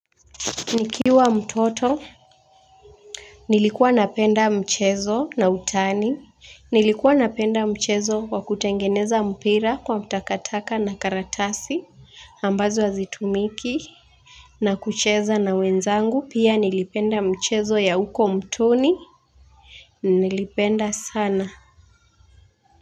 Nikiwa mtoto, nilikuwa napenda mchezo na utani. Nilikuwa napenda mchezo wa kutengeneza mpira kwa takataka na karatasi ambazo hazitumiki na kucheza na wenzangu pia nilipenda mchezo ya huko mtoni, nilipenda sana.